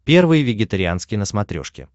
первый вегетарианский на смотрешке